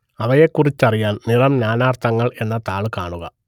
അവയെക്കുറിച്ചറിയാൻ നിറം നാനാർത്ഥങ്ങൾ എന്ന താൾ കാണുക